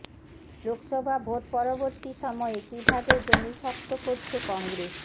Lok Sabha vote পরবর্তী সময়ে কিভাবে জমি শক্ত করছে কংগ্রেস